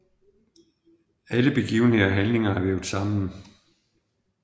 Alle begivenheder og handlinger er vævet sammen